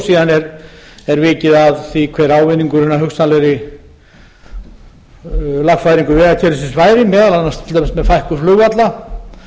síðan er vikið að því hver ávinningurinn að hugsanlegri lagfæringu vegakerfisins væri meðal annars til dæmis með fækkun flugvalla